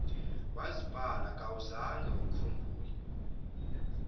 wazibala kawuzange ukhumbule